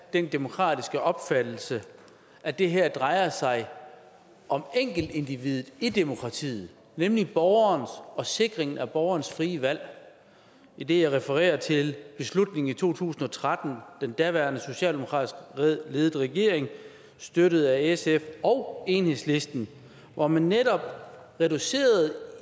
den demokratiske opfattelse at det her drejer sig om enkeltindividet i demokratiet nemlig borgeren og sikringen af borgerens frie valg idet jeg refererer til beslutningen i to tusind og tretten under den daværende socialdemokratisk ledede regering støttet af sf og enhedslisten hvor man netop reducerede